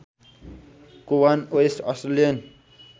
Cowan West Australian